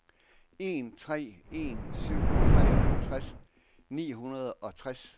en tre en syv treoghalvtreds ni hundrede og tres